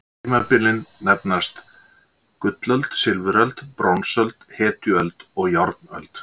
Tímabilin nefnast: gullöld, silfuröld, bronsöld, hetjuöld og járnöld.